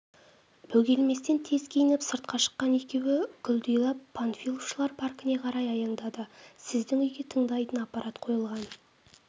бөгелместен тез киініп сыртқа шыққан екеуі құлдилап панфиловшылар паркіне қарай аяңдады сіздің үйге тыңдайтын аппарат қойылған